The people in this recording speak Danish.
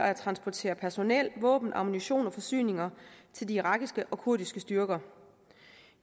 at transportere personnel våben ammunition og forsyninger til de irakiske og kurdiske styrker